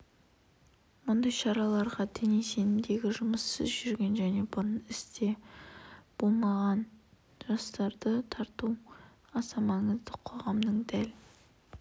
мұндай шараларға діни сенімдегі жұмыссыз жүрген және бұрын істі болған жастарды тарту аса маңызды қоғамның дәл